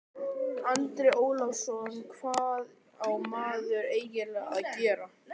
Andri Ólafsson: Hvað á maður eiginlega að gera?